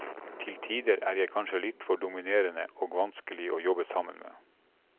Til tider er jeg kanskje litt for dominerende og vanskelig å jobbe sammen med.